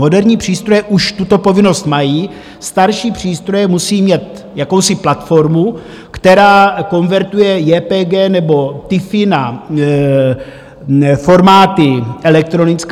Moderní přístroje už tuto povinnost mají, starší přístroje musí mít jakousi platformu, která konvertuje JPG nebo TIFFy na formáty elektronické.